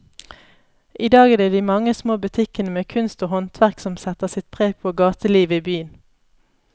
I dag er det de mange små butikkene med kunst og håndverk som setter sitt preg på gatelivet i byen.